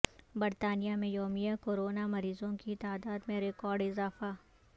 برطانیہ میں یومیہ کورونا مریضوں کی تعداد میں ریکاڑد اضافہ